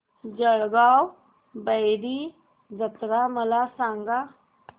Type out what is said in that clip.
जळगाव भैरी जत्रा मला सांग